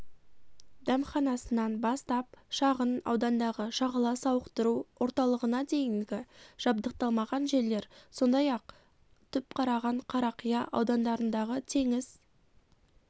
дәмханасынан бастап шағын аудандағы шағала сауықтыру орталығына дейінгі жабдықталмаған жерлер сондай-ақ түпқараған қарақия аудандарындағы теңіз